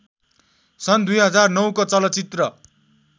सन् २००९ को चलचित्र